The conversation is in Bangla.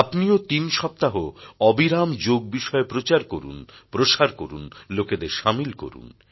আপনিও তিন সপ্তাহ অবিরাম যোগ বিষয়ে প্রচার করুন প্রসার করুন লোকেদের সামিল করুন